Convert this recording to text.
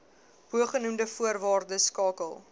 bogenoemde voorwaardes skakel